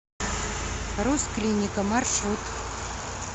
рус клиника маршрут